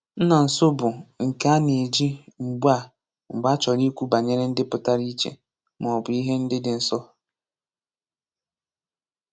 Nna nso bụ nke a na-eji mgbe a mgbe a chọrọ ikwu banyere ndị pụtara iche maọbụ ihe ndị dị nso.